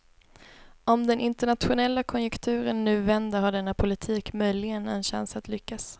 Om den internationella konjunkturen nu vänder har denna politik möjligen en chans att lyckas.